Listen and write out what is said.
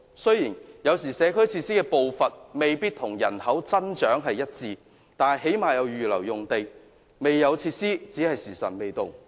雖然有時候社區設施的步伐未必與人口增長一致，但最低限度也會預留用地，未獲提供若干設施只是"時辰未到"。